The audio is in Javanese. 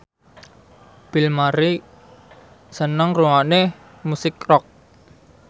Bill Murray seneng ngrungokne musik rock